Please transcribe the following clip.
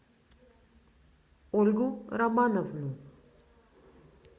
ольгу романовну